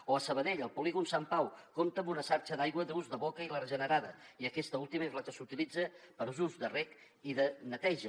o a sabadell el polígon sant pau compta amb una xarxa d’aigua d’ús de boca i la regenerada i aquesta última és la que s’utilitza per a usos de reg i de neteja